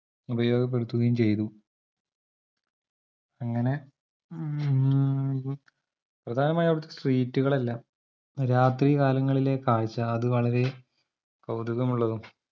ഉപയോഗപ്പെടുത്തുകയും ചെയ്തു അങ്ങനെ മ്മ് ഉം പ്രപ്രധാനമായും അവിടത്തെ street കളെല്ലാം രാത്രികാലങ്ങളിലെ കാഴ്ച അതുവളരെ കൗതുകമുള്ളതും